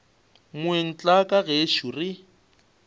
moeng tla ka gešo re